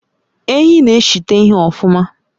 Ehi n'eshite ihe ofuma